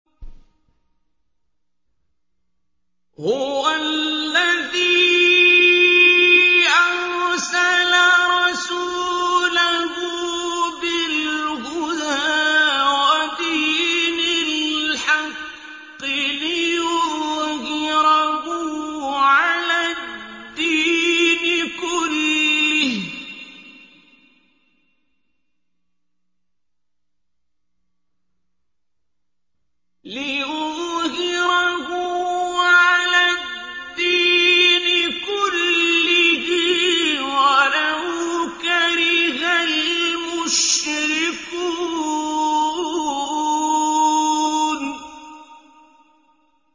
هُوَ الَّذِي أَرْسَلَ رَسُولَهُ بِالْهُدَىٰ وَدِينِ الْحَقِّ لِيُظْهِرَهُ عَلَى الدِّينِ كُلِّهِ وَلَوْ كَرِهَ الْمُشْرِكُونَ